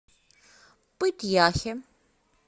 пыть яхе